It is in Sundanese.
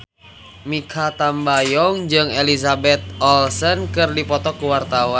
Mikha Tambayong jeung Elizabeth Olsen keur dipoto ku wartawan